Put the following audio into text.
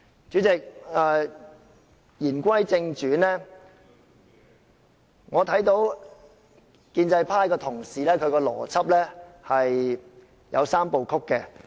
主席，言歸正傳，我看到建制派同事的邏輯有"三步曲"。